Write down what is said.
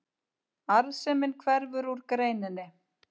Arðsemin hverfur úr greininni